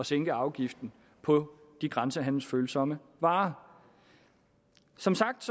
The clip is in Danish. sænke afgiften på de grænsehandelsfølsomme varer som sagt